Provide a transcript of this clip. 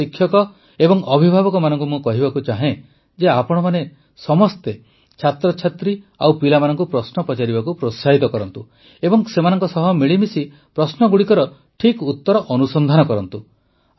ନିଜର ଶିକ୍ଷକ ଓ ଅଭିଭାବକମାନଙ୍କୁ ମୁଁ କହିବାକୁ ଚାହେଁ ଯେ ଆପଣମାନେ ସମସ୍ତେ ଛାତ୍ରଛାତ୍ରୀ ଓ ପିଲାମାନଙ୍କୁ ପ୍ରଶ୍ନ ପଚାରିବାକୁ ପ୍ରୋତ୍ସାହିତ କରନ୍ତୁ ଏବଂ ସେମାନଙ୍କ ସହ ମିଳିମିଶି ପ୍ରଶ୍ନଗୁଡ଼ିକର ଠିକ୍ ଉତ୍ତର ଅନୁସନ୍ଧାନ କରନ୍ତୁ